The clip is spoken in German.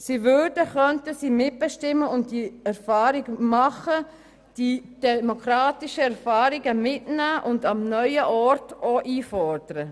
Sie würden, könnten sie mitbestimmen, diese demokratischen Erfahrungen mitnehmen und am neuen Ort auch einfordern.